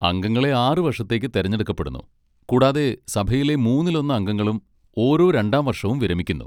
അംഗങ്ങളെ ആറ് വർഷത്തേക്ക് തിരഞ്ഞെടുക്കപ്പെടുന്നു, കൂടാതെ സഭയിലെ മൂന്നിലൊന്ന് അംഗങ്ങളും ഓരോ രണ്ടാം വർഷവും വിരമിക്കുന്നു.